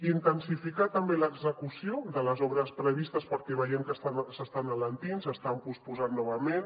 intensificar també l’execució de les obres previstes perquè veiem que s’estan alentint s’estan posposant novament